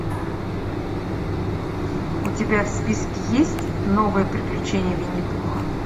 у тебя в списке есть новые приключения винни пуха